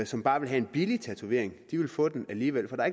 som bare vil have en billig tatovering vil få den alligevel for der